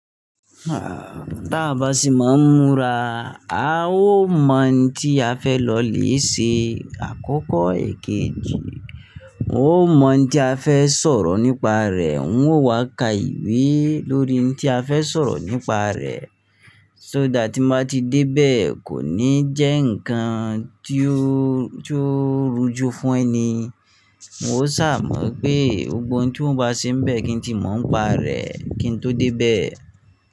Ah, tá bá sì má ń múra, a ó mọ̀ òun tí a fẹ́ lọ lè ṣe àkókò èkejì. N ó mọ̀ tí a fẹ́ sọ̀rọ̀ nípa rẹ̀, n ó wá ka ìwé lórí oun tí a fẹ́ sọ̀rọ̀ nípa rẹ̀. So that tí má tí dé bẹ́ẹ̀ kò ní jẹ́ ǹkan tí ó, tí ó rújú fún ẹni. N ó ṣà mọ̀ pé gbogbo oun tí n bá ṣe bẹ́ẹ̀ kí n tí mọ̀ ń pa rẹ̀ kí n tó dé bẹ́ẹ̀.